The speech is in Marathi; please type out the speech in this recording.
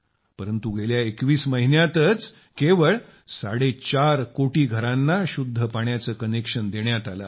परंतु गेल्या 21 महिन्यांतच केवळ साडेचार कोटी घरांना शुद्ध पाण्याचे कनेक्शन देण्यात आले आहे